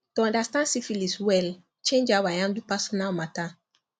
to understand syphilis well change how i handle personal matter